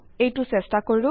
এইটো চেষ্টা কৰো